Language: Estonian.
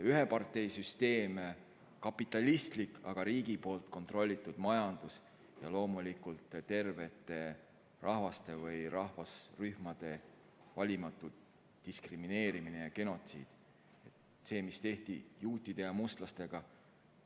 Ühe partei süsteem, kapitalistlik, aga riigi kontrolli all olev majandus ja loomulikult tervete rahvaste või rahvarühmade valimatu diskrimineerimine ja genotsiid, nagu see, mis tehti juutide ja mustlastega.